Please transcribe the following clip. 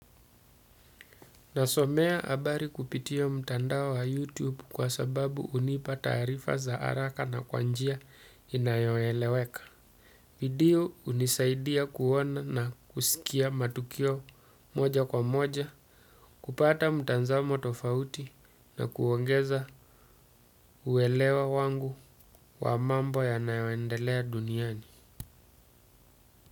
Nasomea habari kupitia mtandao wa youtube kwa sababu hunipa taarifa za haraka na kwa njia inayoeleweka. Video hunisaidia kuona na kusikia matukio moja kwa moja, kupata mtazamo tofauti na kuongeza uelewa wangu wa mambo yanayoendelea duniani.